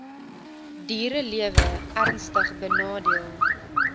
dierelewe ernstig benadeel